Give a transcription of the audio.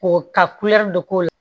Ko ka dɔ k'o la